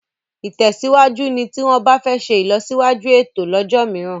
ìtèsíwájú ní tí wón bá fè ṣe ilọsiwaju ẹtọ lójó míràn